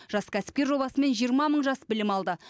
жас кәсіпкер жобасымен жиырма мың жас білім алды